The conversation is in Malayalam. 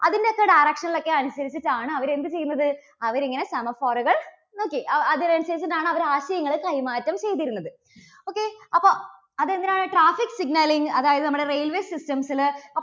അതിന്റെയൊക്കെ direction ൽ ഒക്കെ അനുസരിച്ചിട്ടാണ് അവര് എന്ത് ചെയ്യുന്നത് അവരിങ്ങനെ semaphore കൾ, okay അതിനനുസരിച്ചിട്ടാണ് അവര് ആശയങ്ങള് കൈമാറ്റം ചെയ്തിരുന്നത്. okay അപ്പോൾ അത് എന്തിനാണ് traffic signal ൽ അതായത് നമ്മുടെ railway systems ല്